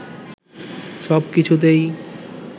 সব কিছুতেই